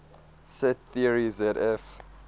set theory zf